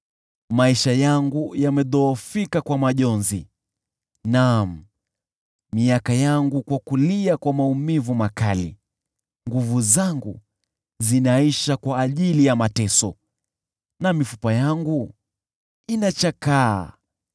Maisha yangu yamedhoofika kwa majonzi, naam, miaka yangu kwa kulia kwa maumivu makali; nguvu zangu zinaisha kwa ajili ya mateso, na mifupa yangu inachakaa.